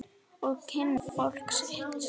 Og kynna fólkið sitt.